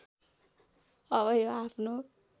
अब यो आफ्नो